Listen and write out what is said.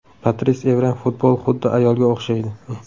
Patris Evra Futbol xuddi ayolga o‘xshaydi.